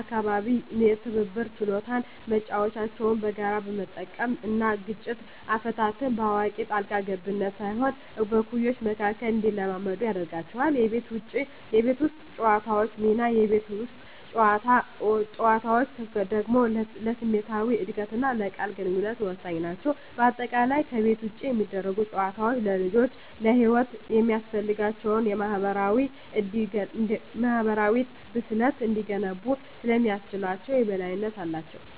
አካባቢ የትብብር ችሎታን (መጫወቻዎችን በጋራ መጠቀም) እና ግጭት አፈታትን (በአዋቂ ጣልቃ ገብነት ሳይሆን በእኩዮች መካከል) እንዲለማመዱ ያደርጋቸዋል። የቤት ውስጥ ጨዋታዎች ሚና: የቤት ውስጥ ጨዋታዎች ደግሞ ለስሜታዊ እድገትና የቃል ግንኙነት ወሳኝ ናቸው። በአጠቃላይ፣ ከቤት ውጭ የሚደረጉ ጨዋታዎች ልጆች ለሕይወት የሚያስፈልጋቸውን የማኅበራዊ ብስለት እንዲገነቡ ስለሚያስችላቸው የበላይነት አላቸው።